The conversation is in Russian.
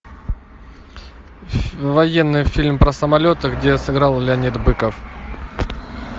военный фильм про самолеты где сыграл леонид быков